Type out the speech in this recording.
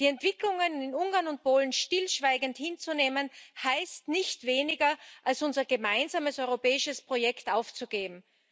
Die Entwicklungen in Ungarn und Polen stillschweigend hinzunehmen, heißt nichts weniger, als unser gemeinsames europäisches Projekt aufzugeben.